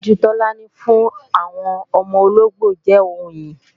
Ìtọ́jú Tọ́lání fún àwọn ọmọ ológbò jẹ́ ohun ìyìn